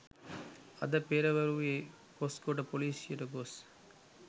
අද පෙරවරුවේ කොස්ගොඩ පොලීසියට ගොස්